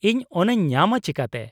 -ᱤᱧ ᱚᱱᱟᱧ ᱧᱟᱢᱟ ᱪᱤᱠᱟᱹᱛᱮ ?